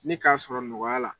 Ne k'a sɔrɔ nɔgɔya la